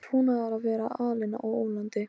Hún ræðst örugglega á okkur, sagði Maggi Lóu.